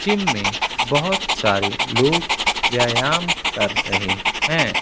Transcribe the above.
इनमें बहुत सारे लोग व्यायाम कर रहे हैं।